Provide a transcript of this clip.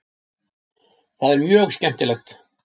Það er mjög skemmtilegt.